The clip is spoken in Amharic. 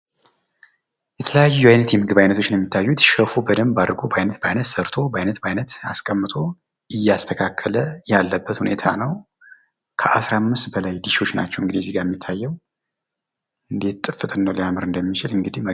የተለያዩ አይነት የምግብ አይነቶች ናቸው የሚታዩት ሸፉ በደንብ በአይነት በአይነት ሰርቶ በአይነት በአይነት አስቀምጦ እያስተካከለ ያለበት ሁኔታ ነው። ከአስራ አምስት በላይ ድሾች ናቸው እንግድህ የሚታየው እንደት ጥፍጥናው ሊያምር እንደሚችል እንግዲህ።